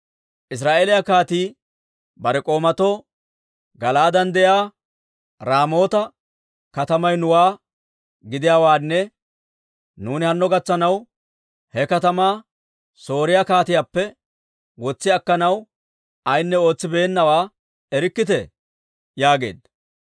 Israa'eeliyaa kaatii bare k'oomatoo, «Gala'aaden de'iyaa Raamoota katamay nuwaa gidiyaawaanne nuuni hanno gatsanaw he katamaa Sooriyaa kaatiyaappe wotsi akkanaw ayinne ootsibeennawaa erikkitee?» yaageedda.